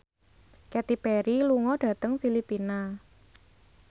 Katy Perry lunga dhateng Filipina